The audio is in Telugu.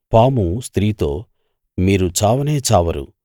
పాము స్త్రీతో మీరు చావనే చావరు